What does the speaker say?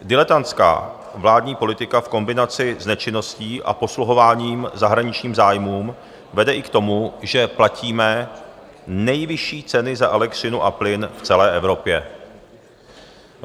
Diletantská vládní politika v kombinaci s nečinností a posluhováním zahraničním zájmům vede i k tomu, že platíme nejvyšší ceny za elektřinu a plyn v celé Evropě.